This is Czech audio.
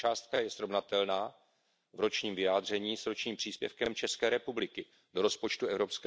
Tato částka je srovnatelná v ročním vyjádření s ročním příspěvkem České republiky do rozpočtu EU.